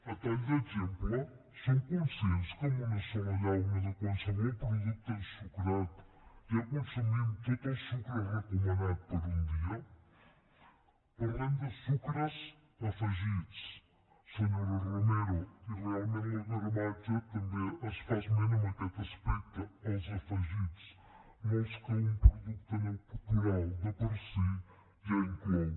a tall d’exemple som conscients que en una sola llauna de qualsevol producte ensucrat ja consumim tot el sucre recomanat per un dia parlem de sucres afegits senyora romero i realment del gramatge també es fa esment en aquest aspecte els afegits no els que un producte natural de per si ja inclou